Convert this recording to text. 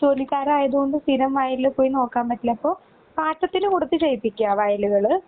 ജോലിക്കാരായതോണ്ട് സ്ഥിരം വയലിൽല് പോയി നോക്കാൻ പറ്റില്ല അപ്പൊ പാട്ടത്തിനു കൊടുത്ത് ചെയിപ്പിക്കുക വയലുകള്.